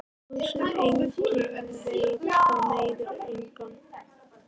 Það sem enginn veit það meiðir engan.